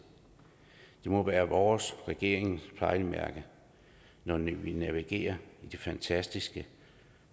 det må være vores og regeringens pejlemærke når vi navigerer i de fantastiske